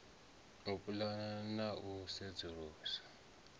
u pulana na u sedzulusa